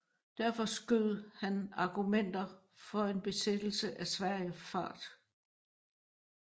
Derfor skød hans argumenter for en besættelse af Sverige fart